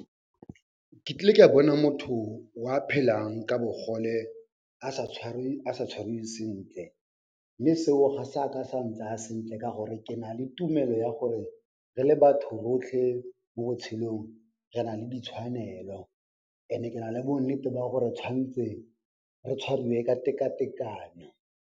Ke tlile ka bona motho wa phelang ka bogole a sa tshwarwe, a sa tshwariwe sentle mme seo ga se a ka sa ntsaa sentle ka gore ke nale tumelo ya gore re le batho rotlhe mo botshelong re na le ditshwanelo ene ke na le bonnete ba gore tshwantse re tshwariwe ka tekatekano.